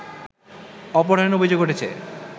অপহরণের অভিযোগ উঠেছে